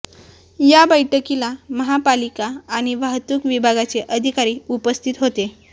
या बैठकीला महापालिका आणि वाहतूक विभागाचे अधिकारी उपस्थित होते